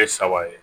E saba ye